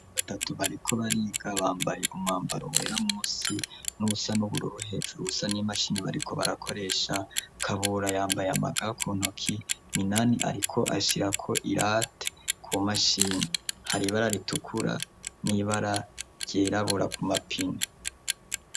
Batatu bariko bariga bambaye b'umwambaro mwera musi n'uusa n'uburu uruhejuru usa n'imashini bariko barakoresha kabura yambaye amagakuntoki minani, ariko ashirako irati ku mashini haribararitukura n'ibararyerabura ku mapini.